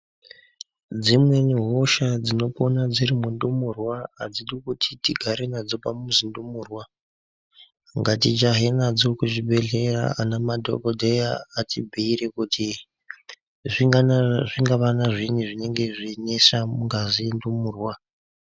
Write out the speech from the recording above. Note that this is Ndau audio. Dzimweni hosha dzinopona dziri mundumurwa adzidi kuti tigare nadzo padzi zimundumurwa ngati jahe nadzo kuzvibhedhleya ana madhokodheya atibhuyire kuti zvingavana zviini zvinengezveyinetsa mungazi yendumurwa.